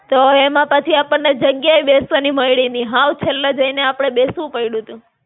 તો એમાં પાછી આપણને જગ્યા એ બેસવાની મયળી ની, હાવ છેલ્લે જઈને આપડે બેસવું પયડું તું.